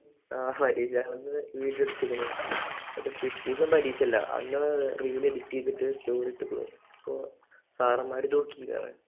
ആഹ് പരീക്ഷ ഹാളിൽ നിന്ന് വീഡിയോ എടുത്തേക്കണു. എന്നിട്ട് പിറ്റേന്ന് പരീക്ഷയില്ല അന്ന് reel edit ചെയ്തിട്ട് story ഇട്ടേക്കണു അപ്പോ സാറന്മാര് നോക്കി